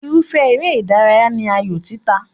Irúfẹ́ eré ìdárayá ní ayò títa.